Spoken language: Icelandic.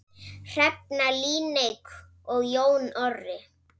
Hrefna Líneik og Jón Orri.